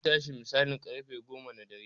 Zai tashi misalin ƙarfe goma na dare